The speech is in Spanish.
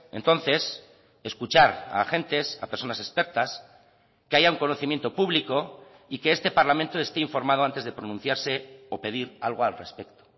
entonces escuchar a agentes a personas expertas que haya un conocimiento público y que este parlamento esté informado antes de pronunciarse o pedir algo al respecto